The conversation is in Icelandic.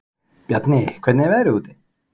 Bjarni, hvernig er veðrið úti?